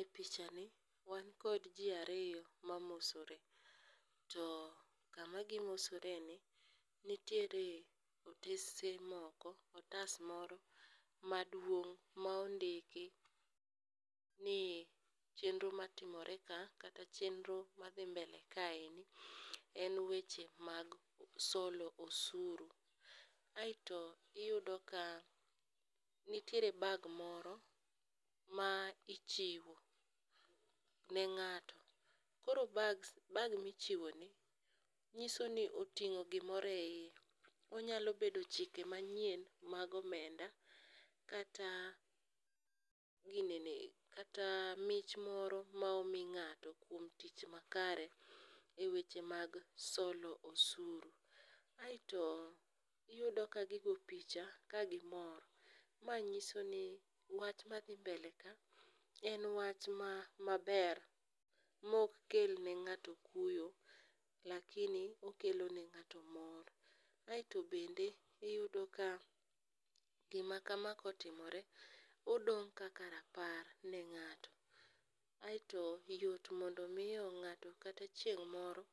E pichani wan kod ji ariyo ma mosore, to kama gimosoreni nitiere otas moro maduong' ma ondiki ni chenro matimore ka kata chenro madhi mbele kaeni en weche mag solo osuru. Aito iyudo ka nitiere bag moro ma ichiwo ne ng'ato koro bag michiwoni nyisoni oting'o gimoro e iye, onyalo bedo chike manyien mag omenda kata mich moro ma omi ng'ato kuom tich makare e weche mag solo osuru. Aito iyud ka gigo picha ka gimor, ma nyiso ni wach madhi mbele ka en wach maber mok kel ne ng'ato kuyo lakini okelone ng'ato mor. Aito bende iyudo ka gima kama kotimore odong' kaka rapar ne ng'ato, aeto yot mondo omiyo ng'ato kata chieng' moro